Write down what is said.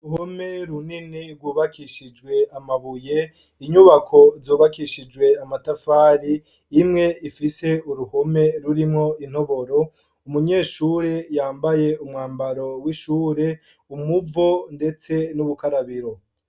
Uhome runini rwubakishijwe amabuye inyubako zobakishijwe amatafari imwe ifise uruhome rurimwo intoboro umunyeshuri yambaye umwambaro w'ishure umuvo, ndetse n'ubukarabiro.